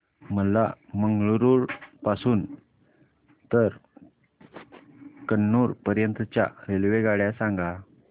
मला मंगळुरू पासून तर कन्नूर पर्यंतच्या रेल्वेगाड्या सांगा